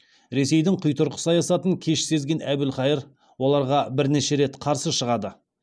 ресейдің құйтырқы саясатын кеш сезген әбілқайыр оларға бірнеше рет қарсы шығады